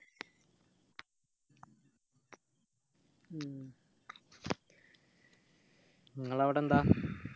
ഉം ഇങ്ങളവിടെ എന്താ